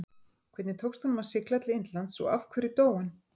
Hvernig tókst honum að sigla til Indlands og af hverju dó hann?